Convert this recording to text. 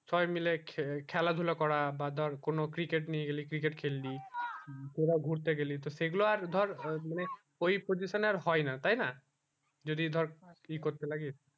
সবাই মিলে খেলা ধুলা করা বা ধর কোনো cricket নিয়ে গেলি cricket খেললি তোরা ঘুরতে গেলি সেই গুলো আর ধর মানে ওই position এ আর হয় না তাই না যদি ধরে এই করতে লাগিস